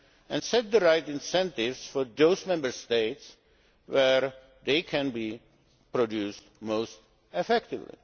and sets the right incentives for those Member States where they can be produced most effectively.